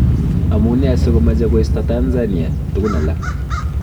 Amunee sikomeche koisto Tanzania tukun alak.